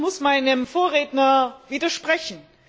Ich muss meinem Vorredner widersprechen.